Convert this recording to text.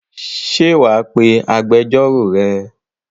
Ṣé wà á pe agbẹjọ́rò rẹ?